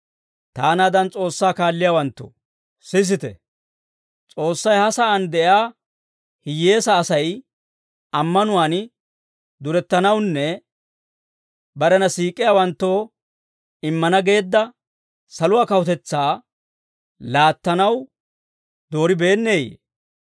Taanaadan S'oossaa kaalliyaawanttoo, sisite; S'oossay ha sa'aan de'iyaa hiyyeesaa Asay ammanuwaan durettanawunne barena siik'iyaawanttoo immana geedda saluwaa kawutetsaa laattanaw dooribeenneyee?